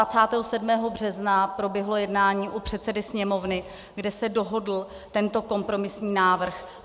A 27. března proběhlo jednání u předsedy Sněmovny, kde se dohodl tento kompromisní návrh.